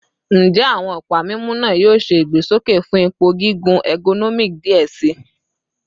Njẹ awọn ọpa mimu naa yoo ṣe igbesoke fun ipo gigun ergonomic diẹ sii?